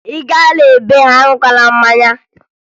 Ị gaa na be ha, aṅụla mmanya!